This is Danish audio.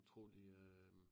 Tror de øh